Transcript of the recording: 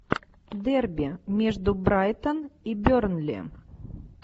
дерби между брайтон и бернли